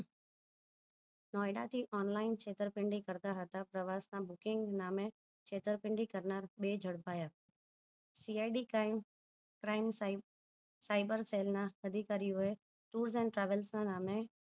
નોયડા થી છેતરપીન્ડી કરતા હતા પ્રવાસ ના booking નામે છેતરપીન્ડી કરતા બે જડપાય CID crime prime sai cyber cell ના અધિકારીઓ એ tour and travel ના નામે